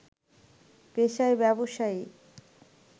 পেশায় ব্যবসায়ী